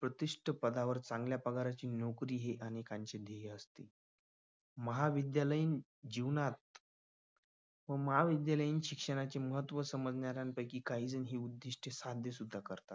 प्रतिष्ठ पदावर चांगल्या पगाराची नोकरी ही अनेकांची ध्येय असतात. महाविद्यालयीन जीवनात व महाविद्यालयीन शिक्षणाचे महत्व समजण्यात पैकी काही जणांची उद्दिष्टे साध्य सुद्धा करतात.